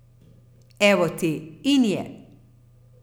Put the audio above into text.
Evo ti, in je!